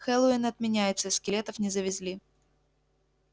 хэллоуин отменяется скелетов не завезли